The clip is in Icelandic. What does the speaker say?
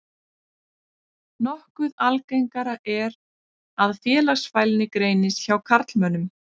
Nokkuð algengara er að félagsfælni greinist hjá karlmönnum.